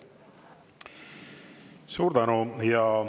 Suur tänu!